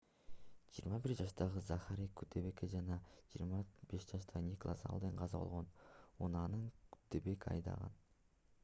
21 жаштагы захари куддебек жана 25 жаштагы николас алден каза болгон унааны куддебек айдаган